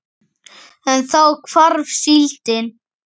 En þá hvarf síldin.